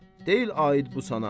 Deyil aid bu sənə.